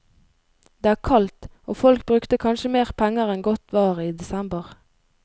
Det er kaldt, og folk brukte kanskje mer penger enn godt var i desember.